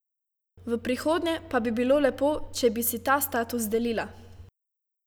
V prihodnje pa bi bilo lepo, če bi si ta status delila.